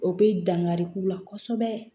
O bɛ dankari k'u la kosɛbɛ